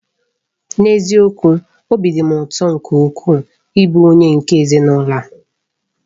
N'eziokwu! Obi dị m ụtọ nke ukwuu ịbụ onye nke ezinụlọ a.